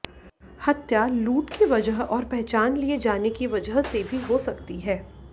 हत्या लूट की वजह और पहचान लिए जाने की वजह से भी हो सकती है